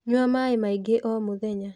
Nyua maaĩ maingĩ o mũthenya.